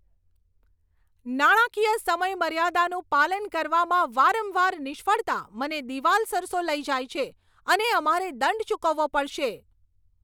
નાણાકીય સમયમર્યાદાનું પાલન કરવામાં વારંવાર નિષ્ફળતા મને દિવાલ સરસો લઈ જાય છે અને અમારે દંડ ચૂકવવો પડશે.